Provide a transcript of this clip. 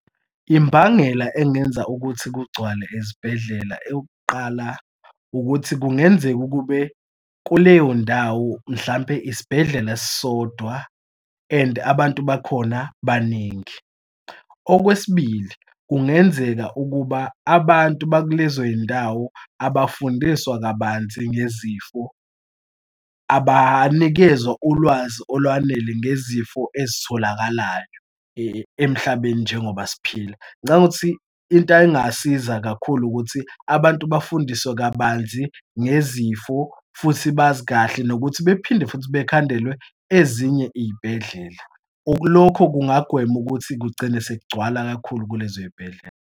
Imbangela engenza ukuthi kugcwale ezibhedlela eyokuqala, ukuthi kungenzeka ukube kuleyo ndawo mhlampe isibhedlela sisodwa, and abantu bakhona baningi. Okwesibili kungenzeka ukuba abantu bakulezo yindawo abafundiswa kabanzi ngezifo, abanikezwa ulwazi olwanele ngezifo ezitholakalayo emhlabeni njengoba siphila. Ngicabanga ukuthi into engasiza kakhulu ukuthi abantu bafundiswe kabanzi ngezifo futhi bazi kahle nokuthi bephinde futhi bekhandelwe ezinye iy'bhedlela lokho kungagwema ukuthi kugcine sekugcwele kakhulu kulezo y'bhedlela.